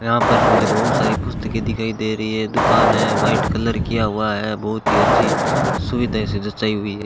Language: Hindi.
यहां पर मुझे बहुत सारी पुस्तकें दिखाई दे रही है दुकान है व्हाइट कलर किया हुआ है बहुत ही अच्छी सुविधाएं हुई है।